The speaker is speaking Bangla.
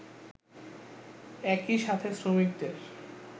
একই সাথে শ্রমিকদের